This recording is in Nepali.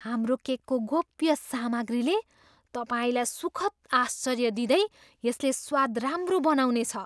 हाम्रो केकको गोप्य सामग्रीले तपाईँलाई सुखद आश्चर्य दिँदै यसले स्वाद राम्रो बनाउनेछ।